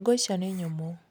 Ngũ icio nĩ nyũmũ.